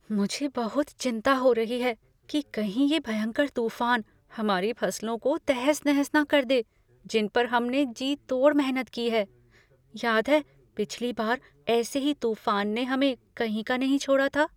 मुझे बहुत चिंता हो रही है कि कहीं ये भयंकर तूफान हमारी फसलों को तहस नहस न कर दें जिनपर पर हमने जी तोड़ मेहनत की है। याद है, पिछली बार ऐसे ही तूफान ने हमें कहीं का नहीं छोड़ा था?